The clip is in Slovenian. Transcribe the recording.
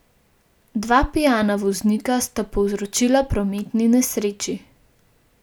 Dva pijana voznika sta povzročila prometni nesreči.